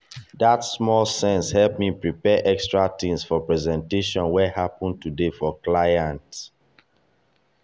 that small sense help me prepare extra things for presentation wey happen today for client.